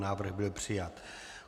Návrh byl přijat.